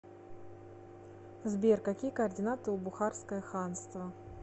сбер какие координаты у бухарское ханство